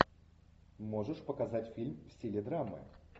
можешь показать фильм в стиле драмы